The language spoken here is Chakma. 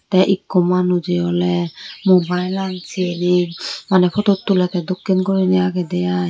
tey ikku manujey oley mobailot seney maneh phutu tulettey dokken guriney agede ai.